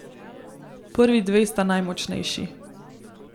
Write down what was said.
Prvi dve sta najmočnejši.